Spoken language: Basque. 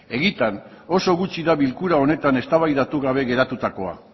egiatan oso gutxi da bilkura honetan eztabaidatu gabe geratutakoa